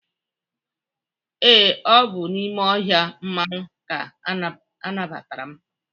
ee, ọ bụ n'ime ohia mmanwu ka anabgatara' m